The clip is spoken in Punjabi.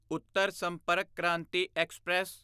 ਉੱਤਰ ਸੰਪਰਕ ਕ੍ਰਾਂਤੀ ਐਕਸਪ੍ਰੈਸ